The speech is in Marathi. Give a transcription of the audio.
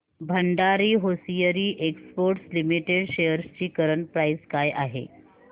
Bhandari hosiery exports limited shares ची करंट प्राइस काय आहे